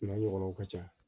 N'a ɲɔgɔnnaw ka ca